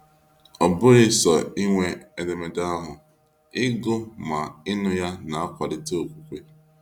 Ọbụghị sọ ịnwe edemede ahụ, ịgụ ma ịnụ ya na akwalite okwukwe.